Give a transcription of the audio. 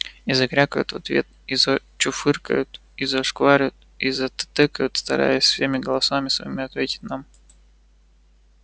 и закрякают в ответ и зачуфыкают и зашваркают и затыкают стараясь всеми голосами своими ответить нам